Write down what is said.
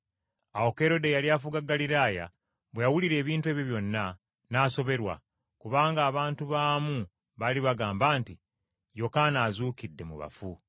Awo Kerode eyali afuga Ggaliraaya bwe yawulira ebintu ebyo byonna, n’asoberwa, kubanga abantu abamu baali bagamba nti, “Yokaana azuukidde mu bafu,”